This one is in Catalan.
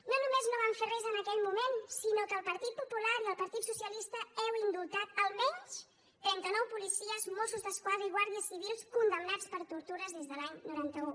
no només no van fer res en aquell moment sinó que el partit popular i el partit socialista heu indultat almenys trenta nou policies mossos d’esquadra i guàrdies civils condemnats per tortures des de l’any noranta un